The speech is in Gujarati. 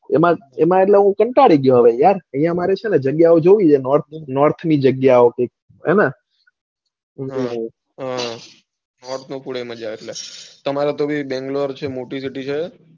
એમાં એટલે હું કંટાળી ગયો યાર અહીંયા મારે છે ને જગ્યાઓ જોવી છે north જગ્યાઓ બધી હા હેને તમારા તો ભાઈ બંગ્લોરે બૌ મોટી city છે.